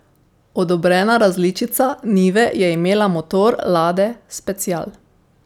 Odobrena različica nive je imela motor lade special.